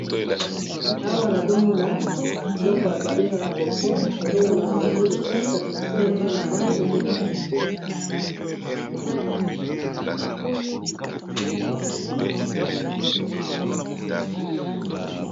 awa nazomona eloko babengaka yango pont na lopoto, nazomona bato bazoleka likolo nango kl na se nayango nazomona mai ezoleka.